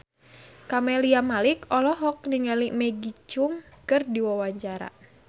Camelia Malik olohok ningali Maggie Cheung keur diwawancara